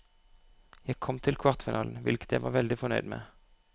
Jeg kom til kvartfinalen, hvilket jeg var veldig fornøyd med.